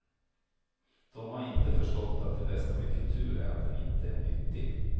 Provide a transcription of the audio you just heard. De har inte förstått att det bästa med kultur är att den inte är nyttig.